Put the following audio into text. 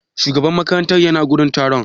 Shugaban makaranta ya na wurin taron?